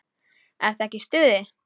Ertu ekki í stuði?